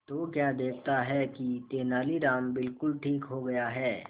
तो क्या देखता है कि तेनालीराम बिल्कुल ठीक हो गया है